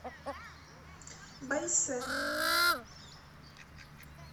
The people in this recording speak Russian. байсэ